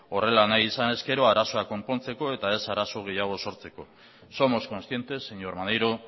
horrela nahi izanez gero arazoa konpontzeko eta ez arazo gehiago sortzeko somos conscientes señor maneiro